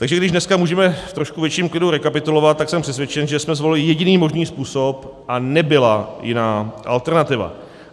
Takže když dneska můžeme v trošku větším klidu rekapitulovat, tak jsem přesvědčen, že jsme zvolili jediný možný způsob a nebyla jiná alternativa.